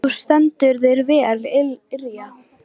Þú stendur þig vel, Irja!